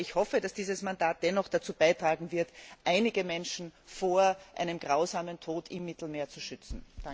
Aber ich hoffe, dass dieses Mandat dennoch dazu beitragen wird, einige Menschen vor einem grausamen Tod im Mittelmeer zu schützen.